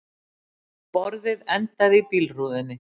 Borðið endaði í bílrúðunni